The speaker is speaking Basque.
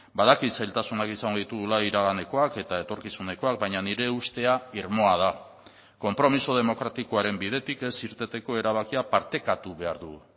badakit zailtasunak izango ditugula iraganekoak eta etorkizunekoak baina nire ustea irmoa da konpromiso demokratikoaren bidetik ez irteteko erabakia partekatu behar dugu